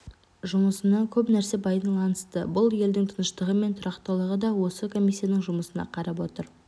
жұмысына көп нәрсе байланысты бұл елдің тыныштығы мен тұрақтылығы да осы комиссияның жұмысына қарап отыр